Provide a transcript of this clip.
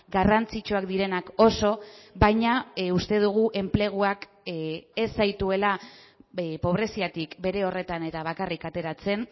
garrantzitsuak direnak oso baina uste dugu enpleguak ez zaituela pobreziatik bere horretan eta bakarrik ateratzen